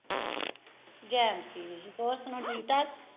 ਹੋਰ ਸੁਣਾਓ ਠੀਕ ਠਾਕ?